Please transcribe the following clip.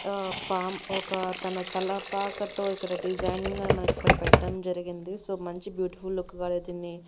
ఆ పామ్ ఒక తన తలపాకతో ఇక్కడ డిజైనింగ్ అని మనకిక్కడ పెట్టటం జరిగింది సో మంచి బ్యూటిఫుల్ లుక్ గా దీన్ని--